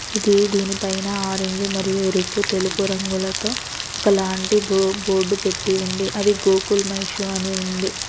ఇది దీనిపైన ఆరెంజ్ మరియు ఎరుపు తెలుపు రంగులతో ఒకలాంటి బోర్డు పెట్టి ఉంది. అది గోకుల్ మై షో అని ఉంది.